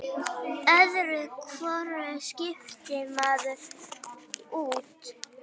Öðru hvoru skiptir maður út.